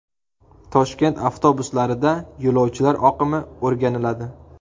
Toshkent avtobuslarida yo‘lovchilar oqimi o‘rganiladi.